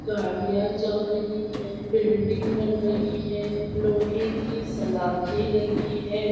गाड़ियाँ चल रही है बिल्डिंग बन रही है लोहे की सलाखे लगी है।